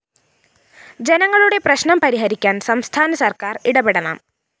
ജനങ്ങളുടെ പ്രശ്‌നം പരിഹരിക്കാന്‍ സംസ്ഥാന സര്‍ക്കാര്‍ ഇടപെടണം